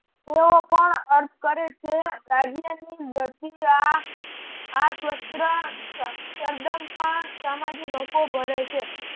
તેઓ પણ અર્થ કરે છે રાજ્ય ની વ્યતિ આ આ સ્વસ્ત્ર સર્જન પણ સામાજિક હકો ભરે છે.